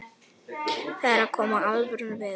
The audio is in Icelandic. Það er að koma alvöru veður.